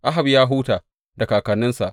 Ahab ya huta da kakanninsa.